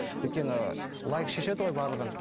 өйткені лайк шешеді ғой барлығын